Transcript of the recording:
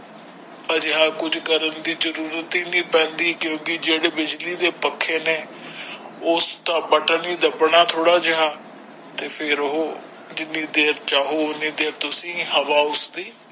ਅਜਿਹਾ ਕੁਝ ਕਰਨ ਦੀ ਜਰੂਰਤ ਹੀ ਨਹੀਂ ਪੈਂਦੀ ਕਿਉਂਕਿ ਜਿਹੜੇ ਬਿਜਲੀ ਦੇ ਪੱਖੇ ਨੇ ਉਸਦਾ ਬਟਨ ਹੀ ਦੱਬਣਾ ਥੋੜਾ ਜਿਹਾ ਤੇ ਫੇਰ ਉਹ ਜਿੰਨੀ ਦੇਰ ਚਾਹੋ ਉਹਨੀ ਦੇਰ ਤੁਸੀ ਹਵਾ ਉਸਦੀ।